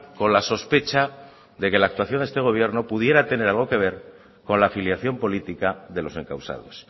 con la sospecha de que la actuación de este gobierno pudiera tener algo que ver con la afiliación política de los encausados